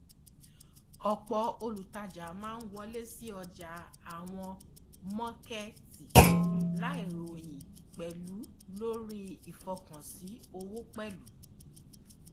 ọpọ olùtajà máa ń wọlé sí ọjà àwọn mọọkètì láì ròyìn pẹlú lórí ìfọkànsìn owó pẹlú